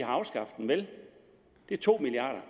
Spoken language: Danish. har afskaffet den vel det er to milliard